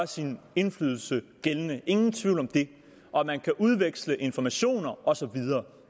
sin indflydelse gældende ingen tvivl om det og at man kan udveksle informationer og så videre